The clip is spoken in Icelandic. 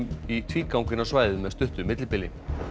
í tvígang inn á svæðið með stuttu millibili